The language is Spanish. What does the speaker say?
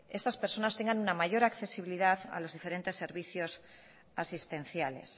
estas personas tengan una mayor accesibilidad a diferentes servicios asistenciales